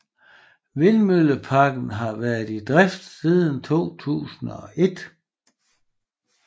Vindmølleparken har været i drift siden 2001